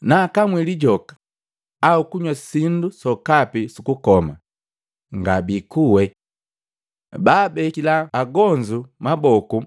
Naakamwi lijoka au kunywa sindu sokapi sukukoma, nga biikuwe. Baabekila agonzu maboku